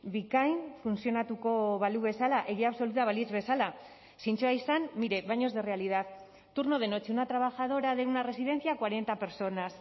bikain funtzionatuko balu bezala egia absoluta balitz bezala zintzoa izan mire baños de realidad turno de noche una trabajadora de una residencia cuarenta personas